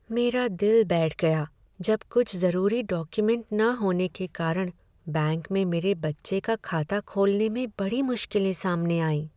मेरा दिल बैठ गया जब कुछ जरूरी डॉक्युमेंट न होने के कारण बैंक में मेरे बच्चे का खाता खोलने में बड़ी मुश्किलें सामने आईं।